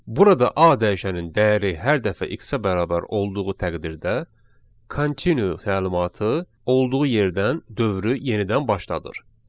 Burada a dəyişənin dəyəri hər dəfə x-ə bərabər olduğu təqdirdə continue təlimatı olduğu yerdən dövrü yenidən başlatdırır.